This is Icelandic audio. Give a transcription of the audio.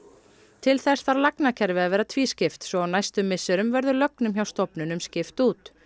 til þess þarf lagnakerfið að vera tvískipt svo á næstu misserum verður lögnum hjá stofnunum skipt út